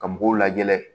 Ka mɔgɔw lagɛ